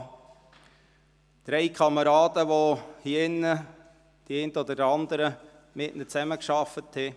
Es sind drei Kameraden, mit denen die einen oder anderen hier drin zusammengearbeitet hatten.